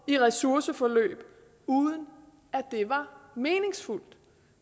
i ressourceforløb uden at det var meningsfuldt